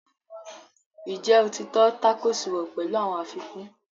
Ǹjẹ́ o ti tọ́ tákòòsì wò pẹ̀lú àwọn àfikún?